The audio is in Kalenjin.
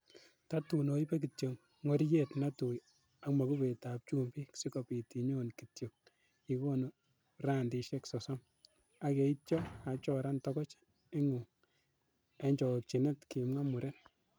"Tatun oibe kityok ng'oriet netui ak mokubetab chumbik, sikobit inyon kityok ikono randisiek sosom, ak yeityo achoran togoch ingung en chokchinet,"Kimwa muren.